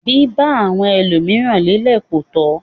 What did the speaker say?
Biba àwọn ẹlomiran lelẹ ko tọ.